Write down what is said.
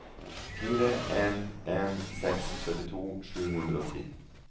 fire en en seks syttito sju hundre og ti